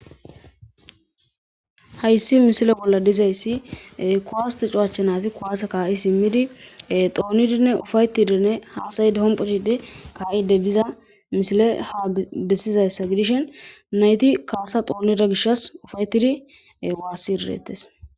Hayssi mishile bolla dizayssi kuwastu cuwachchanati kuwase kaa'i simmidi xoonidinne ufaytidinne haasay dihompochidi kaa'ide biza mishile ha bessizayssa gidishen nayti kaasa xoonida gishas ufaytidi waassi idirettes.